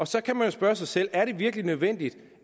så kan man spørge sig selv er det virkelig nødvendigt